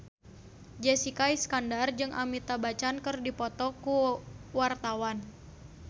Jessica Iskandar jeung Amitabh Bachchan keur dipoto ku wartawan